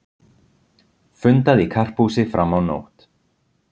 Fundað í Karphúsi fram á nótt